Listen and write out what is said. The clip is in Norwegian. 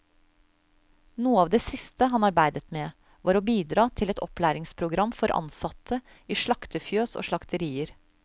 Noe av det siste han arbeidet med, var å bidra til et opplæringsprogram for ansatte i slaktefjøs og slakterier.